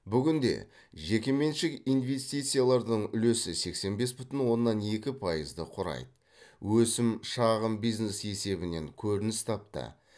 бүгінде жекеменшік инвестициялардың үлесі сексен бес бүтін оннан екі пайызды құрайды өсім шағын бизнес есебінен көрініс тапты